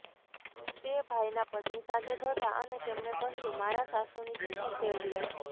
તે ભાઈનાં પત્ની સાથે જ હતાં અને તેમણે કહ્યું મારાં સાસુની તિથિ છે એટલે